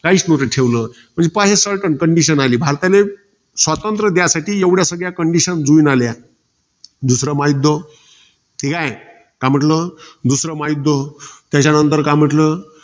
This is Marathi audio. काहीच नव्हतं ठेवल. पहा certine condition आली. भारताले स्वातंत्र्य द्यासाठी एवढ्या सगळ्या condition जुळून आल्या. दुसरं महायुध्द. ठीकाय. काय म्हंटल? दुसरं महायुध्द त्याच्यानंतर काय म्हंटल?